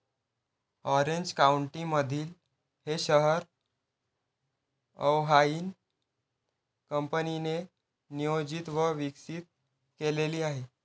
Orange काउंटीमधील हे शहर अर्व्हाइन कंपनीने नियोजित व विकसित केलेले आहे.